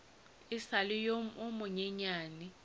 e sa le yo monyenyane